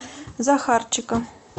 захарчика